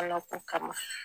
Alako kama